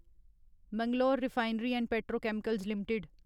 Mangalore refinery and petrochemicals limited